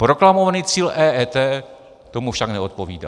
Proklamovaný cíl EET tomu však neodpovídá.